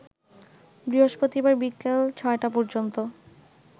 বৃহস্পতিবার বিকেল ৬টা পর্যন্ত